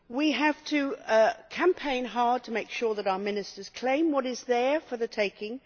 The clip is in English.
We have to campaign hard to make sure that our Ministers claim what is there for the taking.